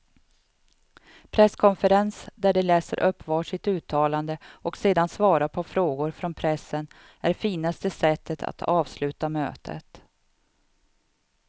Presskonferens där de läser upp var sitt uttalande och sedan svarar på frågor från pressen är finaste sättet att avsluta mötet.